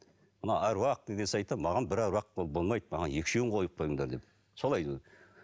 мына аруақ деген сайтта маған бір аруақ болмайды маған екі үшеуін қойып қойыңдар деп солай